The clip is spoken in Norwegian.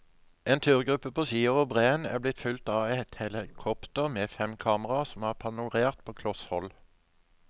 En turgruppe på ski over breen er blitt fulgt av et helikopter med fem kameraer som har panorert på kloss hold.